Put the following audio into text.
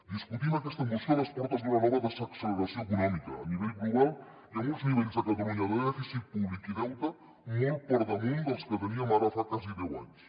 discutim aquesta moció a les portes d’una nova desacceleració econòmica a nivell global i amb uns nivells a catalunya de dèficit públic i deute molt per damunt dels que teníem ara fa quasi deu anys